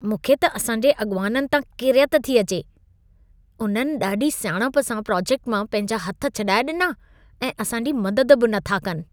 मूंखे त असां जे अॻिवाननि तां किरियत थी अचे। उन्हनि ॾाढी सियाणप सां प्रोजेक्ट मां पंहिंजा हथ छॾाए ॾिना ऐं असां जी मदद बि नथा कनि।